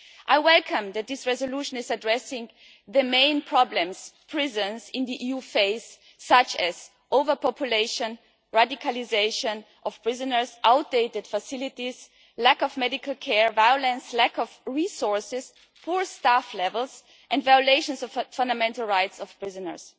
I welcome that this resolution is addressing the main problems prisons in the EU face such as overpopulation, radicalisation of prisoners, outdated facilities, lack of medical care, violence, lack of resources, poor staff levels and violations of fundamental rights of prisoners.